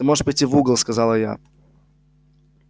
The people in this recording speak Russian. ты можешь пойти в угол сказала я